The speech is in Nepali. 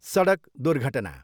सडक दुर्घटना।